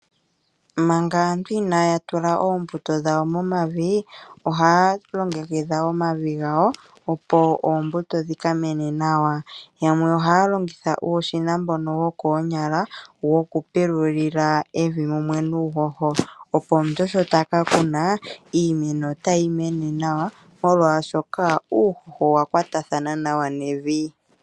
Manga aantu inayatula ombuto dhawo momavi, oha longekidha omavi ngawo opo oombuto dhikamene nawa, yamwe ohalongitha uushina mboka wokonyala wokupululila evi mumwe nuhoho opo sho takakuna iimeno otayi mene nawa molwashoka uuhoho owa kwatathana nawa nevi.